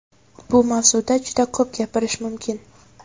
Bu mavzuda juda ko‘p gapirish mumkin.